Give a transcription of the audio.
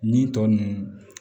Nin tɔ ninnu